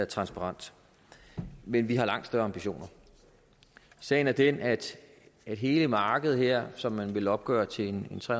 transparent men vi har langt større ambitioner sagen er den at hele markedet her som man vil opgøre til tre